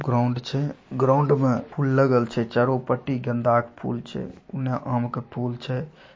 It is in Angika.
ग्राउंड छे ग्राउंड में फूल लगल छे चारो पटी गेंदा के फूल छे उन्हे आम के फूल छे |